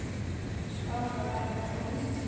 Skárra væri það nú!